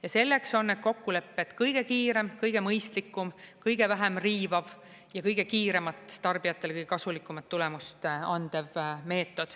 Ja selleks on need kokkulepped kõige kiirem, kõige mõistlikum, kõige vähem riivav ja kõige kiiremat tarbijatele kõige kasulikumat tulemust andev meetod.